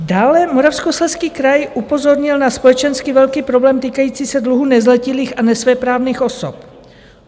Dále Moravskoslezský kraj upozornil na společensky velký problém týkající se dluhu nezletilých a nesvéprávných osob.